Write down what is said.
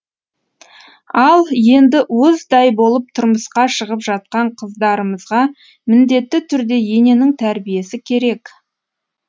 ал енді уыздай болып тұрмысқа шығып жатқан қыздарымызға міндетті түрде ененің тәрбиесі керек